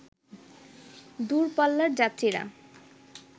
দূর পাল্লার যাত্রীরা